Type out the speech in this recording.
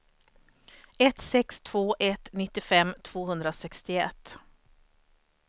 ett sex två ett nittiofem tvåhundrasextioett